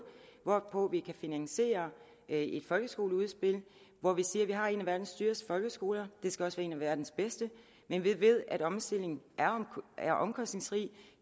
hvorpå vi kan finansiere et folkeskoleudspil hvor vi siger vi har en af verdens dyreste folkeskoler det skal også være en af verdens bedste men vi ved at omstilling er omkostningsfuld det